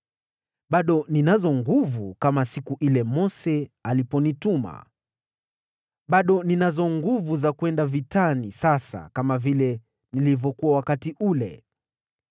Bado ninazo nguvu kama siku ile Mose aliponituma. Bado ninazo nguvu za kwenda vitani sasa kama vile nilivyokuwa wakati ule.